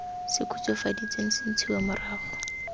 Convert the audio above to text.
se khutswafaditsweng se ntshiwa morago